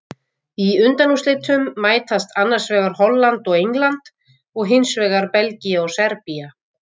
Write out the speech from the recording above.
Í undanúrslitum mætast annars vegar Holland og England og hinsvegar Belgía og Serbía.